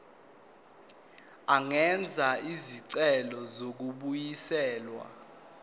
angenza isicelo sokubuyiselwa